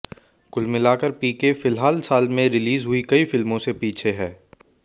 कुल मिलाकर पीके फिल्हाल साल में रिलीज हुई कई फिल्मों से पीछे है